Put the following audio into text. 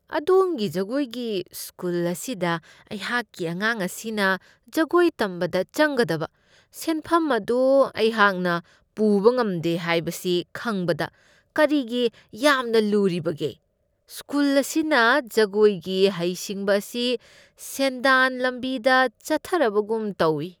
ꯑꯗꯣꯝꯒꯤ ꯖꯒꯣꯏꯒꯤ ꯁ꯭ꯀꯨꯜ ꯑꯁꯤꯗ ꯑꯩꯍꯥꯛꯀꯤ ꯑꯉꯥꯡ ꯑꯁꯤꯅ ꯖꯒꯣꯏ ꯇꯝꯕꯗ ꯆꯪꯒꯗꯕ ꯁꯦꯟꯐꯝ ꯑꯗꯨ ꯑꯩꯍꯥꯛꯅ ꯄꯨꯕ ꯉꯝꯗꯦ ꯍꯥꯏꯕꯁꯤ ꯈꯪꯕꯗ ꯀꯔꯤꯒꯤ ꯌꯥꯝꯅ ꯂꯨꯔꯤꯕꯒꯦ? ꯁ꯭ꯀꯨꯜ ꯑꯁꯤꯅ ꯖꯒꯣꯏꯒꯤ ꯍꯩꯁꯤꯡꯕ ꯑꯁꯤ ꯁꯦꯟꯗꯥꯟ ꯂꯝꯕꯤꯗ ꯆꯠꯊꯔꯕꯒꯨꯝ ꯇꯧꯢ꯫